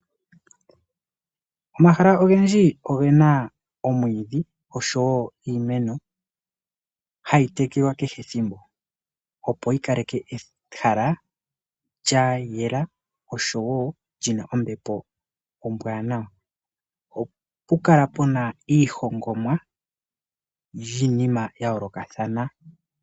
Omahala ogendji oge na omwiidhi osho wo iimeno hayi tekelwa kehe ethimbo opo yi kale ke ehala lya yela osho wo li na ombepo ombwaanawa. Oha pu kala pu na iihongomwa yiinima ya yoolokathana.